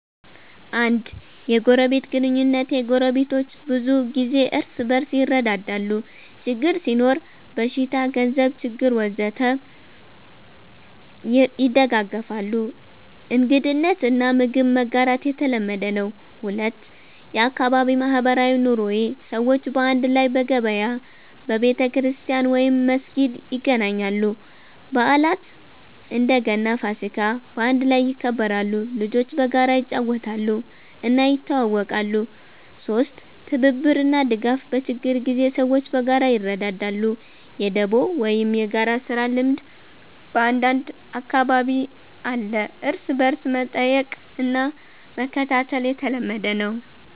1. የጎረቤት ግንኙነቴ ጎረቤቶች ብዙ ጊዜ እርስ በርስ ይረዳዳሉ ችግር ሲኖር (በሽታ፣ ገንዘብ ችግር ወዘተ) ይደጋገፋሉ እንግድነት እና ምግብ መጋራት የተለመደ ነው 2. የአካባቢ ማህበራዊ ኑሮዬ ሰዎች በአንድ ላይ በገበያ፣ በቤተክርስቲያን/መስጊድ ይገናኛሉ በዓላት (እንደ ገና፣ ፋሲካ) በአንድ ላይ ይከበራሉ ልጆች በጋራ ይጫወታሉ እና ይተዋወቃሉ 3. ትብብር እና ድጋፍ በችግር ጊዜ ሰዎች በጋራ ይረዳዳሉ የ“ደቦ” ወይም የጋራ ስራ ልምድ በአንዳንድ አካባቢ አለ እርስ በርስ መጠየቅ እና መከታተል የተለመደ ነው